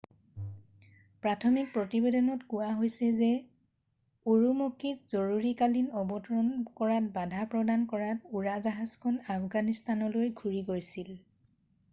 প্ৰাথমিক প্ৰতিবেদনত কোৱা হৈছে যে উৰুমকিত জৰুৰীকালীন অৱতৰণ কৰাত বাধা প্ৰদান কৰাত উৰাজাহাজখন আফগানিস্থানলৈ ঘূৰি গৈছিল